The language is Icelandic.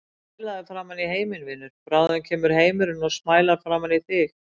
Smælaðu framan í heiminn, vinur, bráðum kemur heimurinn og smælar framan í þig.